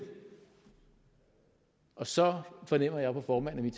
og så fornemmer jeg på formanden